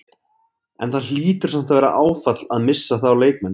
En það hlýtur samt að vera áfall að missa þá leikmenn?